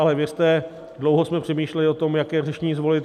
Ale věřte, dlouho jsme přemýšleli o tom, jaké řešení zvolit.